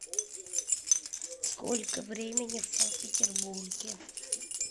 сколько времени в санкт петербурге